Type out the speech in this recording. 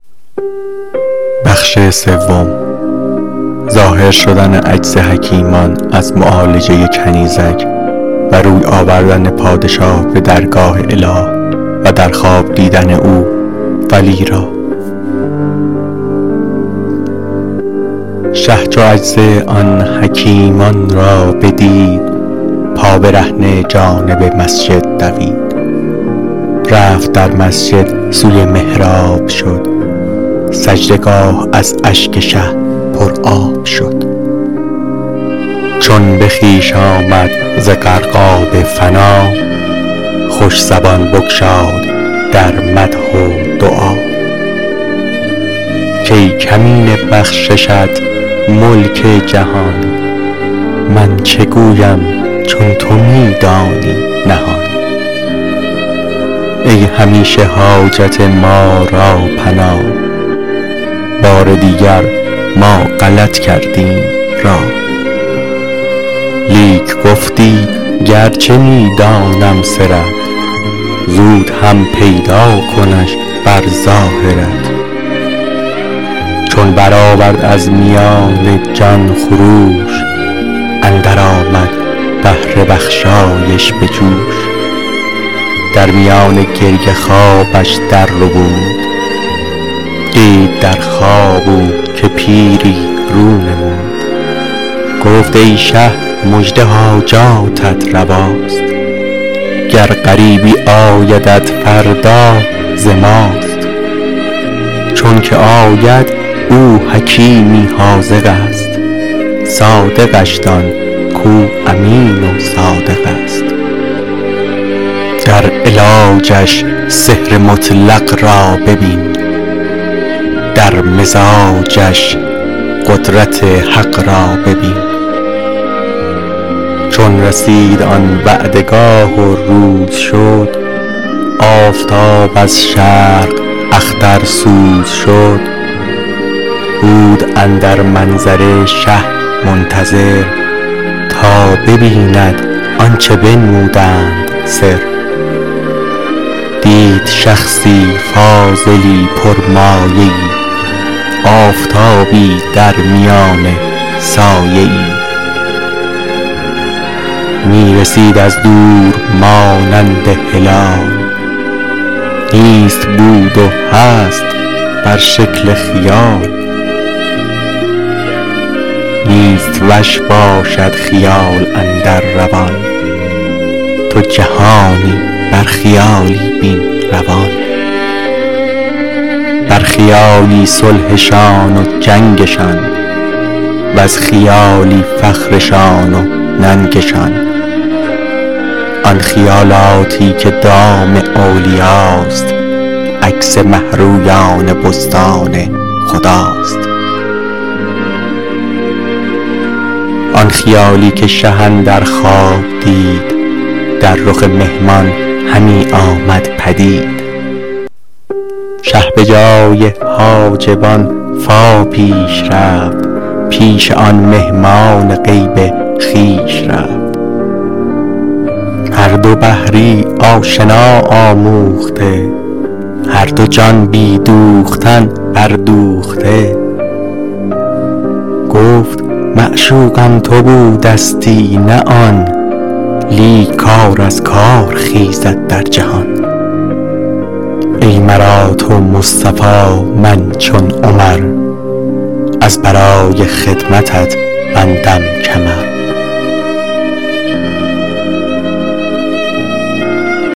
شه چو عجز آن حکیمان را بدید پابرهنه جانب مسجد دوید رفت در مسجد سوی محراب شد سجده گاه از اشک شه پر آب شد چون به خویش آمد ز غرقاب فنا خوش زبان بگشاد در مدح و دعا کای کمینه بخششت ملک جهان من چه گویم چون تو می دانی نهان ای همیشه حاجت ما را پناه بار دیگر ما غلط کردیم راه لیک گفتی گرچه می دانم سرت زود هم پیدا کنش بر ظاهرت چون برآورد از میان جان خروش اندر آمد بحر بخشایش به جوش در میان گریه خوابش در ربود دید در خواب او که پیری رو نمود گفت ای شه مژده حاجاتت رواست گر غریبی آیدت فردا ز ماست چونکه آید او حکیمی حاذقست صادقش دان کو امین و صادقست در علاجش سحر مطلق را ببین در مزاجش قدرت حق را ببین چون رسید آن وعده گاه و روز شد آفتاب از شرق اخترسوز شد بود اندر منظره شه منتظر تا ببیند آنچه بنمودند سر دید شخصی کاملی پر مایه ای آفتابی درمیان سایه ای می رسید از دور مانند هلال نیست بود و هست بر شکل خیال نیست وش باشد خیال اندر روان تو جهانی بر خیالی بین روان بر خیالی صلحشان و جنگشان وز خیالی فخرشان و ننگشان آن خیالاتی که دام اولیاست عکس مه رویان بستان خداست آن خیالی که شه اندر خواب دید در رخ مهمان همی آمد پدید شه به جای حاجبان فا پیش رفت پیش آن مهمان غیب خویش رفت هر دو بحری آشنا آموخته هر دو جان بی دوختن بر دوخته گفت معشوقم تو بودستی نه آن لیک کار از کار خیزد در جهان ای مرا تو مصطفی من چو عمر از برای خدمتت بندم کمر